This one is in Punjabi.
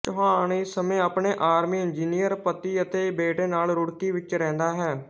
ਚੌਹਾਨ ਇਸ ਸਮੇਂ ਆਪਣੇ ਆਰਮੀ ਇੰਜੀਨੀਅਰ ਪਤੀ ਅਤੇ ਬੇਟੇ ਨਾਲ ਰੁੜਕੀ ਵਿੱਚ ਰਹਿੰਦਾ ਹੈ